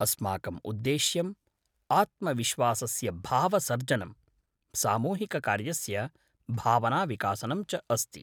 अस्माकम् उद्देश्यम् आत्मविश्वासस्य भावसर्जनम्, सामूहिककार्यस्य भावनाविकासनं च अस्ति।